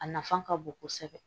A nafa ka bon kosɛbɛ